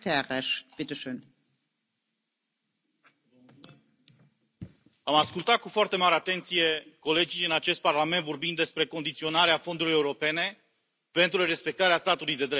Doamnă președintă, am ascultat cu foarte mare atenție colegii în acest Parlament vorbind despre condiționarea fondurilor europene pentru respectarea statului de drept.